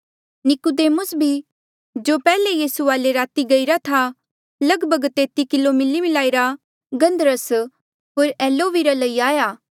नीकुदेमुस भी जो पैहले यीसू वाले राती गईरा था लगभग तेती किलो मिलीमलाईरा गन्धरस होर एलोविरा लई आया